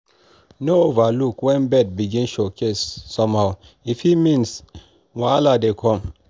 no overlook when bird begin showcase somehow e fit mean wahala dey come.